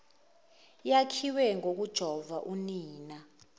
yakhiwe ngokujova unina